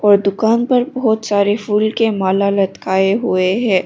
तो दुकान पर बहुत सारे फूल के माला लटकाए हुए है।